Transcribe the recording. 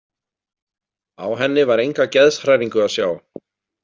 Á henni var enga geðshræringu að sjá.